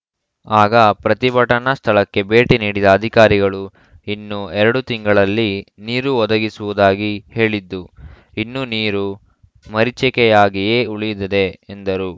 ಆಗ ಪ್ರತಿಭಟನಾ ಸ್ಥಳಕ್ಕೆ ಭೇಟಿ ನೀಡಿದ ಅಧಿಕಾರಿಗಳು ಇನ್ನು ಎರಡು ತಿಂಗಳಲ್ಲಿ ನೀರು ಒದಗಿಸುವುದಾಗಿ ಹೇಳಿದ್ದು ಇನ್ನೂ ನೀರು ಮರೀಚಿಕೆಯಾಗಿಯೇ ಉಳಿದಿದೆ ಎಂದರು